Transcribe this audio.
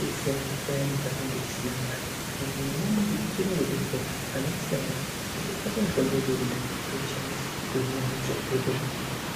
detsera maningi paya patainge tisina mare kana manyamushi ichiri kungodetsera kana tisina mare tondo tsvaka mitombo yedu toshandisa tohina toita zvakanaka